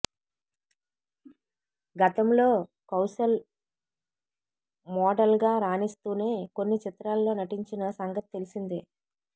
గతంలో కౌశల్ మోడల్గా రాణిస్తూనే కొన్ని చిత్రాల్లో నటించిన సంగతి తెలిసిందే